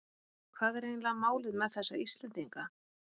Hvað er eiginlega málið með þessa Íslendinga?